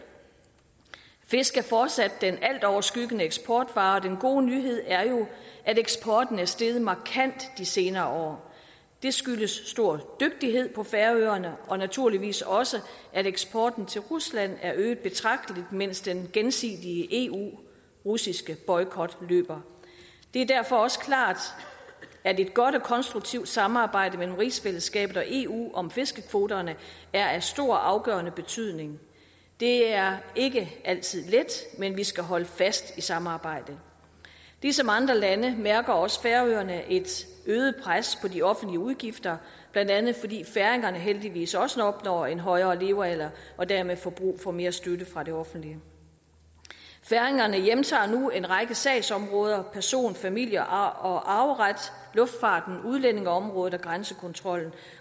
fisk er fortsat den altoverskyggende eksportvare og den gode nyhed er jo at eksporten er steget markant de senere år det skyldes stor dygtighed på færøerne og naturligvis også at eksporten til rusland er øget betragteligt mens den gensidige eu russiske boykot løber det er derfor også klart at et godt og konstruktivt samarbejde mellem rigsfællesskabet og eu om fiskekvoterne er af stor og afgørende betydning det er ikke altid let men vi skal holde fast i samarbejdet ligesom andre lande mærker også færøerne et øget pres på de offentlige udgifter blandt andet fordi færingerne heldigvis også opnår en højere levealder og dermed får brug for mere støtte fra det offentlige færingerne hjemtager nu en række sagsområder person familie og arveret luftfarten udlændingeområdet og grænsekontrollen